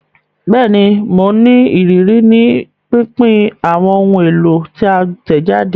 Bẹẹni, Mo ní ìrírí ni pínpín awọn ohùn èlò ti a tẹjade